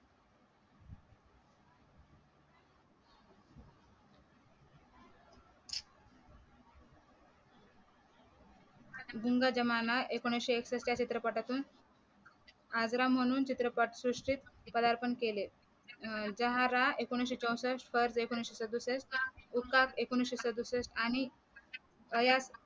गुंगा जमाना एकोणविशे एकसष्ठ या चित्रपटातून आग्रा म्हणून चित्रपट सृष्टीत पदार्पण केले झहरा एकोणविशे चौसष्ट एकोणविशे सदुसष्ट हुक्काक एकोणविशे सदुसष्ट आणि प्रयाग